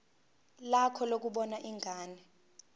lakho lokubona ingane